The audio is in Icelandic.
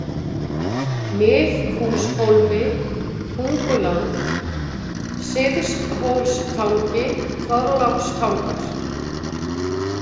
Miðhúshólmi, Tunguland, Syðsthólstangi, Þorlákstangar